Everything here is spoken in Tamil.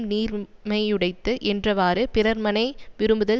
நீர்மையுடைத்து என்றவாறு பிறர்மனை விரும்புதல்